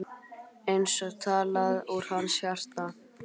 Eins og talað úr hans hjarta.